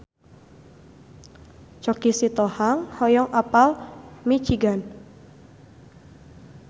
Choky Sitohang hoyong apal Michigan